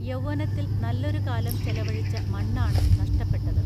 യൗവ്വനത്തിൽ നല്ലൊരുകാലം ചെലവഴിച്ച മണ്ണാണു നഷ്ടപ്പെട്ടത്